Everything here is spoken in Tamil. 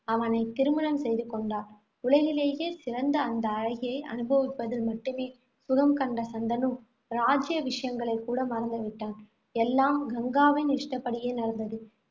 அவனைத் திருமணம் செய்து கொண்டாள். உலகிலேயே சிறந்த அந்த அழகியை அனுபவிப்பதில் மட்டுமே சுகம் கண்ட சந்தனு, ராஜ்ய விஷயங்களைக் கூட மறந்து விட்டான். எல்லாம் கங்காவின் இஷ்டப்படியே நடந்தது.